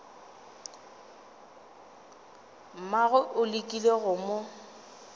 mmagwe o lekile go mo